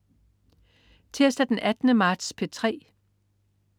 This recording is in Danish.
Tirsdag den 18. marts - P3: